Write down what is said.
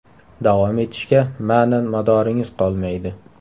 Davom etishga ma’nan madoringiz qolmaydi.